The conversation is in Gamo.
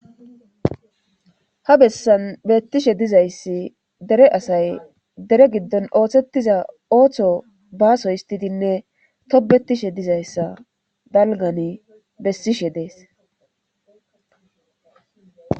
ha bessan beettishe dizayssi dere asay dere giddon ooththetiza ooththo baaso histidinne tobetishe dizayssa dalgan bessishe dees